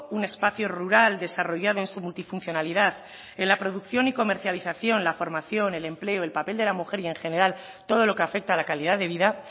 un espacio rural desarrollado en su multifuncionalidad en la producción y comercialización la formación y el empleo el papel de la mujer y en general todo lo que afecta a la calidad de vida